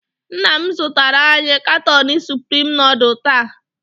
Nna m zụtara anyị katon supreme nudul taa.